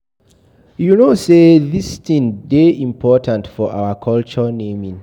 You no say dis thing dey important for our culture naming